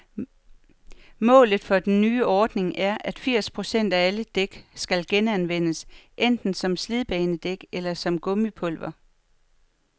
Målet for den nye ordning er, at firs procent af alle dæk skal genanvendes, enten som slidbanedæk eller som gummipulver.